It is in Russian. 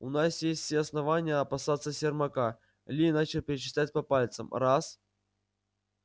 у нас есть все основания опасаться сермака ли начал перечислять по пальцам раз